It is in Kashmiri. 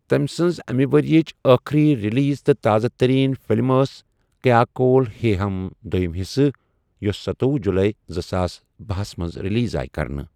تمہِ سٕنٛز اَمہِ ؤرِیِچہِ ٲخری رِلیٖز تہٕ تازٕ تٔریٖن فِلِم ٲس کیا کوٗل ہے ہَم دویُم حِصہٕ، یۄس ستوۄہُ جُلای زٕساس بَہہ ہس منٛز رِلیٖز آیہِ کرنہٕ۔